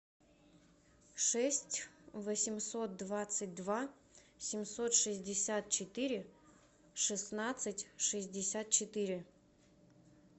шесть восемьсот двадцать два семьсот шестьдесят четыре шестнадцать шестьдесят четыре